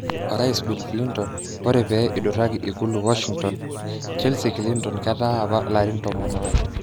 Orais Bill Clinton ore pee iduraki ikulu Washingtone, Chelsea Clinton ketaa apa larin tomon are.